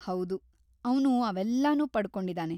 ಹೌದು, ಅವ್ನು ಅವೆಲ್ಲನೂ ಪಡ್ಕೊಂಡಿದಾನೆ.